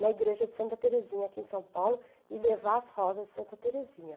na igreja de Santa Terezinha, aqui em São Paulo, e levar as rosas de Santa Terezinha.